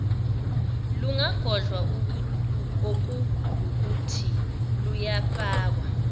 lungagodlwa okuwukuthi lungafakwa